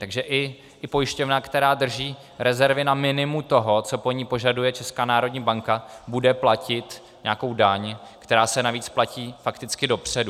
Takže i pojišťovna, která drží rezervy na minimu toho, co po ní požaduje Česká národní banka, bude platit nějakou daň, která se navíc platí fakticky dopředu.